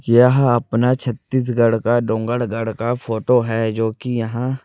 यह अपना छत्तीसगढ़ का डोंगडगढ़ का फोटो है जोकि यहां--